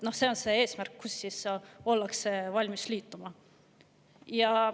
See on see eesmärk, mille puhul ollakse valmis liituma.